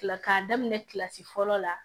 Kila k'a daminɛ kilasi fɔlɔ la